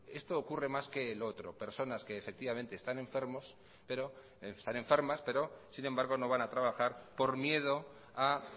esto ocurre más que lo otro personas que efectivamente están enfermas pero sin embargo no van a trabajar por miedo a